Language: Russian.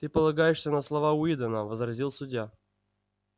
ты полагаешься на слова уидона возразил судья